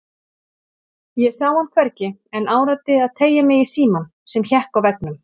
Ég sá hann hvergi en áræddi að teygja mig í símann sem hékk á veggnum.